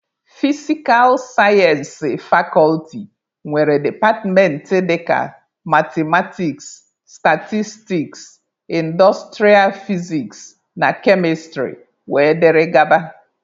Fisikal sayensị fakọlti nwere departmentị dịka mathematiks, statistiks, indostrịa fiziks na kemịstrị wdg.